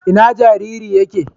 Ina jariri yake?